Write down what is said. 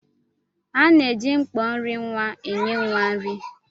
À na-eji mkpọ nri nwa enye nwa nri.